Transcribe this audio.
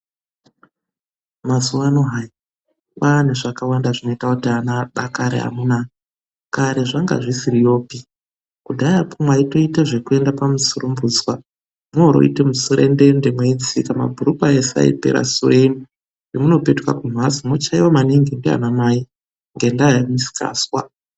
Mazuwa ano hayi!, kwaane zvakawanda zvinoita kuti ana adakare amunaa; kare zvanga zvisiriyopi kudhayakwo mwaitoita zvekuenda pamusurumbudzwa mworoita muserendende mabhurukwa ese aipera sure ino, pamunopetuka kumhatso mwochaiwa maningi ndiana Mai ngendaa yemisikazwa.